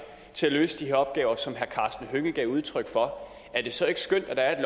til at løse de her opgaver som herre karsten hønge gav udtryk for er det så ikke skønt at der er